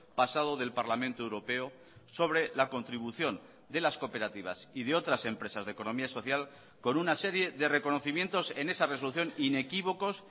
pasado del parlamento europeo sobre la contribución de las cooperativas y de otras empresas de economía social con una serie de reconocimientos en esa resolución inequívocos